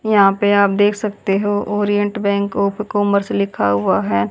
यहां पे आप देख सकते हो ओरिएंट बैंक ऑफ कॉमर्स लिखा हुआ है।